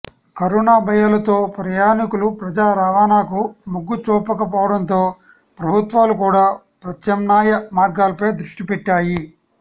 corona భయాలతో ప్రయాణికులు ప్రజా రవాణాకు మొగ్గు చూపకపోవడంతో ప్రభుత్వాలు కూడా ప్రత్యామ్నాయ మార్గాలపై దృష్టిపెట్టాయి